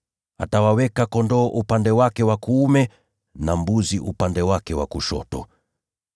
Atawaweka kondoo upande wake wa kuume, na mbuzi upande wake wa kushoto.